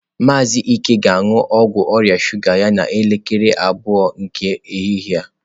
Maazị Ike ga-aṅụ ọgwụ ọrịa shuga ya n'elekere abụọ nke ehihie.